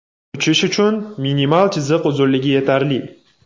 Uchish uchun minimal chiziq uzunligi yetarli.